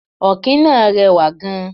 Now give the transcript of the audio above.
Ọ̀kín náà rẹwà gan.